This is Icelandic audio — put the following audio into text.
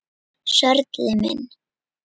Sörli minn!